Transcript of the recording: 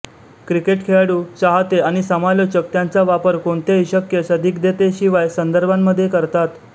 cricket खेळाडू चाहते आणि समालोचक त्याचा वापर कोणत्याही शक्य संदिग्धतेशिवाय संदर्भांमध्ये करतात